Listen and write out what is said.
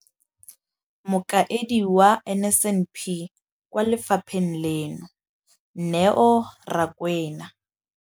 Mokaedi wa NSNP kwa lefapheng leno, Neo Rakwena,